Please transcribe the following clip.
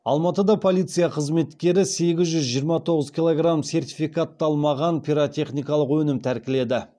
алматыда полиция қызметкерлері сегіз жүз жиырма тоғыз килограмм сертификатталмаған пиротехникалық өнім тәркіледі